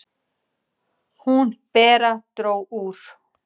"""Hún, Bera, dró úr."""